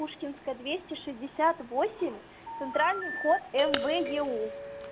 пушкинская двести шестьдесят восемь центральный вход мвеу